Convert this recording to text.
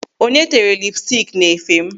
Onye tere lipstik n'efe m?